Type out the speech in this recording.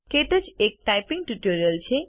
ક્ટચ એક typing tutor છે